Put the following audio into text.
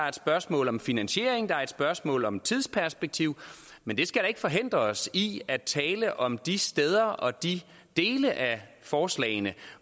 et spørgsmål om finansiering og et spørgsmål om et tidsperspektiv men det skal da ikke forhindre os i at tale om de steder og de dele af forslagene